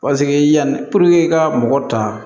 Paseke yanni i ka mɔgɔ ta